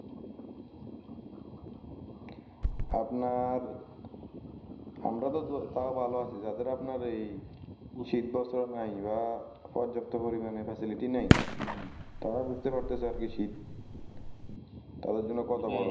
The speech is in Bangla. আপনার আমরা তো তাও ভালো আছি যাদের আপনার এই শীতবস্ত্র নাই বা পর্যাপ্ত পরিমানে Facilitty নাই হম তারা বুঝতে পারতেছে আরকি শীত তাদের জন্য কত বড়